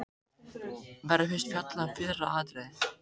Verður fyrst fjallað um fyrra atriðið.